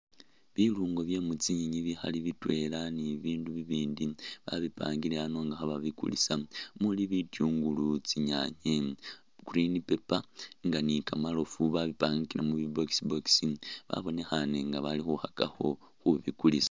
Bilungo bye mutsinyenyi bikhaali bitweela ni'bibindu bibindi babipangile ano nga khababikulisa umuli bitungulu, tsinyaanye green paper nga ni'kamarofu babipangile mubi box box wabonekhane nga bali khukhakakho khubikulisa